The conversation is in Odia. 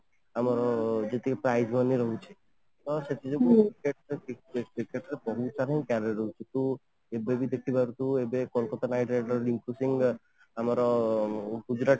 ଆମର ଯେତିକି prime zone ରେ ରହୁଛି ତ ସେଥିରେ ଯେତିକି ତୁ ଏବେ ବି ଦେଖିପାରୁଥିବୁ ଏବେ କୋଲକାତା knight riders , ଆମର ଗୁଜୁରାଟ